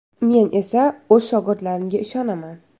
Men esa o‘z shogirdlarimga ishonaman.